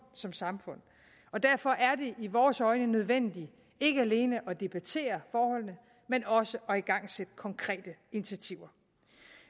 som samfund og derfor er det i vores øjne nødvendigt ikke alene at debattere forholdene men også at igangsætte konkrete initiativer